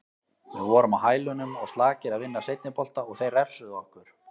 Við vorum á hælunum og slakir að vinna seinni bolta og þeir refsuðu okkur.